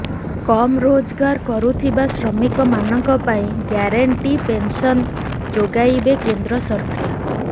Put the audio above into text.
କମ ରୋଜଗାର କରୁଥିବା ଶ୍ରମିକ ମାନଙ୍କ ପାଇଁ ଗ୍ୟାରେଣ୍ଟି ପେନସନ ଯୋଗାଇବେ କେନ୍ଦ୍ର ସରକାର